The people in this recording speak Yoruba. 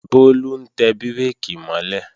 Bólú ń tẹ bírèkì mọ́ lẹ̀